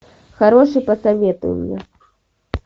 хороший посоветуй мне